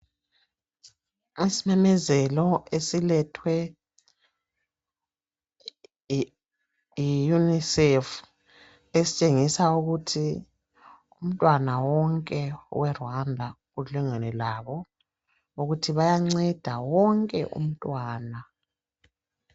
Kusimemezelo esilethwe yi UNICEF esitshengisa ukuthi umntwana wonke we Rwanda ulingene labo ukuthi bayanceda wonke umntwana.